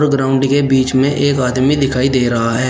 Ground के बीच में एक आदमी दिखाई दे रहा है।